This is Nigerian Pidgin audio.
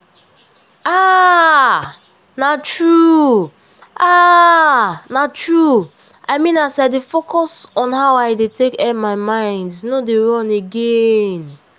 ah na true! ah na true! i mean as i dey focus on how i dey tek air my mind no dey run again.